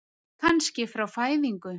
Kannski frá fæðingu.